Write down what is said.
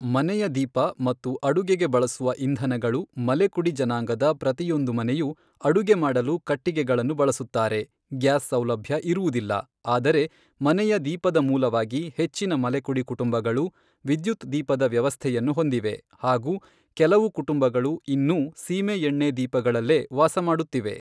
ಮನೆಯ ದೀಪ ಮತ್ತು ಅಡುಗೆಗೆ ಬಳಸುವ ಇಂಧನಗಳು ಮಲೆಕುಡಿ ಜನಾಂಗದ ಪ್ರತಿಯೊಂದು ಮನೆಯುಅಡುಗೆ ಮಾಡಲು ಕಟ್ಟಿಗೆಗಳನ್ನು ಬಳಸುತ್ತಾರೆ ಗ್ಯಾಸ್ ಸೌಲಭ್ಯ ಇರುವುದಿಲ್ಲ ಆದರೆ ಮನೆಯ ದೀಪದಮೂಲವಾಗಿ ಹೆಚ್ಚಿನ ಮಲೆಕುಡಿ ಕುಟುಂಬಗಳು ವಿದ್ಯುತ್ ದೀಪದ ವ್ಯವಸ್ಥೆಯನ್ನು ಹೊಂದಿವೆ ಹಾಗೂ ಕೆಲವು ಕುಟುಂಬಗಳು ಇನ್ನೂ ಸೀಮೇಎಣ್ಣೆದೀಪಗಳಲ್ಲೇ ವಾಸಮಾಡುತ್ತಿವೆ.